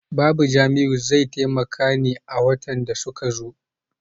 Babu Jamiu zai taimaka ne a watan da suke zo.